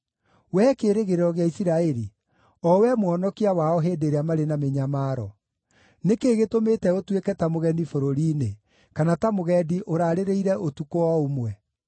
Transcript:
Wee Kĩĩrĩgĩrĩro gĩa Isiraeli, o wee Mũhonokia wao hĩndĩ ĩrĩa marĩ na mĩnyamaro, nĩ kĩĩ gĩtũmĩte ũtuĩke ta mũgeni bũrũri-inĩ, kana ta mũgendi ũraarĩrĩire ũtukũ o ũmwe?